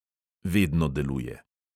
Vedno deluje.